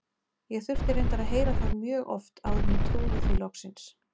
Ég þurfti reyndar að heyra það mjög oft áður en ég trúði því loksins.